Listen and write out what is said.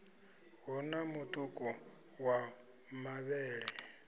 hu na mutuku wa mavhele